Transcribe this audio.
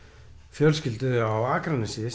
fjölskyldu á Akranesi